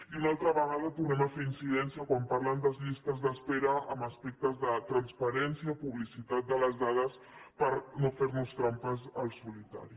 i una altra vegada tornem a fer incidència quan parlen de llistes d’espera en aspectes de transparència publicitat de les dades per no fer nos trampes al solitari